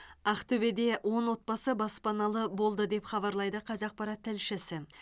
ақтөбеде он отбасы баспаналы болды деп хабарлайды қазақпарат тілшісі